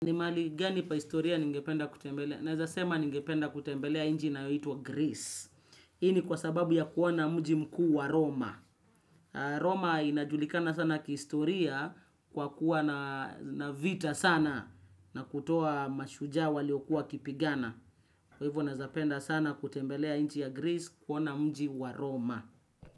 Ni mahali gani pa historia ningependa kutembelea? Naeza sema ningependa kutembelea nchi inaitwa. Greece. Hii kwa sababu ya kuona mji mkuu wa roma. Roma inajulikana sana kihistoria kwa kuwa na vita sana na kutoa mashujaa waliokuwa wakipigana. Kwa hivyo naeza penda sana kutembelea nchi ya Greece kuona mji wa Roma.